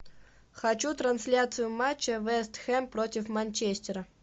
хочу трансляцию матча вест хэм против манчестера